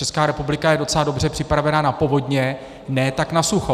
Česká republika je docela dobře připravena na povodně, ne tak na sucho.